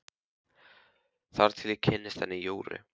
Þar til ég kynntist henni Jóru.